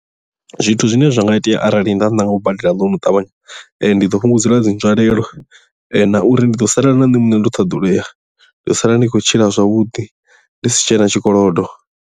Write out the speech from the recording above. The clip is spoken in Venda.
Zwithu zwine zwa nga itea arali nda ṋanga u badela ḽounu ṱavhanya ndi ḓo fhungudza dzi nzwalelo na uri ndi ḓo sala na nṋe muṋe ndi u thasululea nda sala ndi tshi khou tshila zwavhuḓi ndi si tshena tshikolodo.